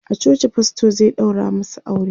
a coci pastor zai ɗaura masu aure